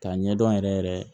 K'a ɲɛdɔn yɛrɛ yɛrɛ